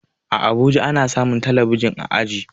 A abuja ana samun talabijin a aji